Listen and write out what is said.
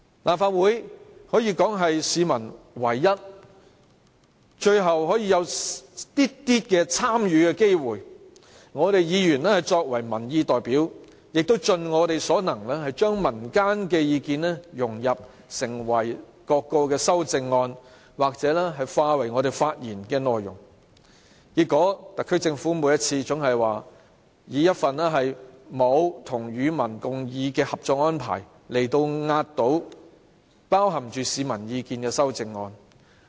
立法會可謂是市民唯一、最後可以有少許參與機會的地方，我們議員作為民意代表，盡我們所能將民間的意見融入各項修正案或化為發言內容，但結果，特區政府每次總以一份沒有"與民共議"的《合作安排》壓倒包含市民意見的修正案。